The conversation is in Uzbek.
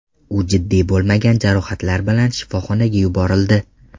U jiddiy bo‘lmagan jarohatlar bilan shifoxonaga yuborildi.